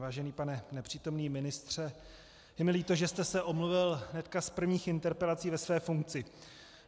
Vážený pane nepřítomný ministře, je mi líto, že jste se omluvil hned z prvních interpelací ve své funkci.